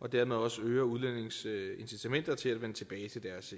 og dermed også øge udlændinges incitament til at vende tilbage til deres